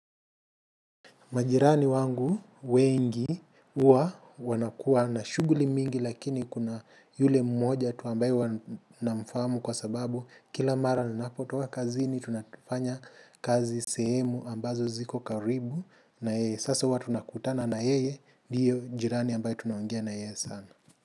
Majirani wangu wengi huwa wanakuwa na shughuli mingi lakini kuna yule mmoja tu ambaye namfahamu kwasababu kila mara ninapotoka kazini tunafanya kazi sehemu ambazo ziko karibu na yeye sasa huwa tunakutana na yeye ndiyo jirani ambaye tunaongea na yeye sana.